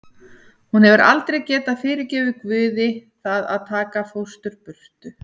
Hún hefur aldrei getað fyrirgefið Guði það að taka fóstru burt.